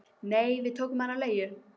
Nei, við tókum hann á leigu